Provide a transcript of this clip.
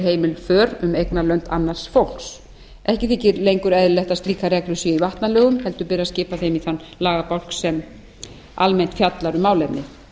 heimil för um eignarlönd annars fólks ekki þykir lengur eðlilegt að slíkar reglur séu í vatnalögum heldur ber að skipa þeim í þann lagabálk sem almennt fjallar um málefnið